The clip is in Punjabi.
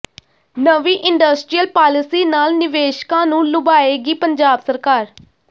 ਨਵੀਂ ਇੰਡਸਟਰੀਅਲ ਪਾਲਿਸੀ ਨਾਲ ਨਿਵੇਸ਼ਕਾਂ ਨੂੰ ਲੁਭਾਏਗੀ ਪੰਜਾਬ ਸਰਕਾਰ